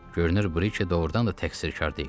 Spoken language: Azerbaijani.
Görünür, Briki doğurdan da təqsirkar deyil.